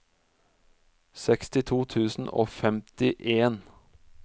sekstito tusen og femtien